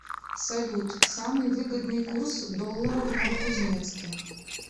салют самый выгодный курс доллара в новокузнецке